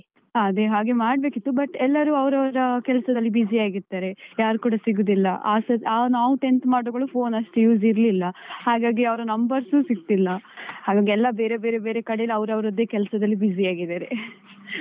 ಹ ಅದೆ ಹಾಗೆ ಮಾಡ್ಬೇಕಿತ್ತು but ಎಲ್ಲರು ಅವರವರ ಕೆಲಸದಲ್ಲಿ busy ಯಾಗಿರ್ತಾರೆ. ಯಾರು ಕೂಡ ಸಿಗುದಿಲ್ಲ. ಆ ನಾವು tenth ಮಾಡಿಕೂಡ್ಲೆ phone ಅಷ್ಟು use ಇರ್ಲಿಲ್ಲ, ಹಾಗಾಗಿ ಅವರ numbers ಸಿಗ್ತಿಲ್ಲ. ಹಾಗಾಗಿ ಎಲ್ಲ ಬೇರೆ ಬೇರೆ ಕಡೆ ಅವರವರದ್ದೆ ಕೆಲಸದಲ್ಲಿ busy ಆಗಿದ್ದಾರೆ .